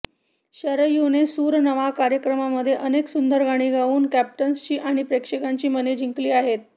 शरयूने सूर नवा कार्यक्रमामध्ये अनेक सुंदर गाणी गाऊन कॅप्टनसची आणि प्रेक्षकांची मने जिंकली आहेत